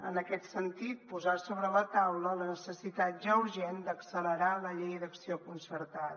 en aquest sentit posar sobre la taula la necessitat ja urgent d’accelerar la llei d’acció concertada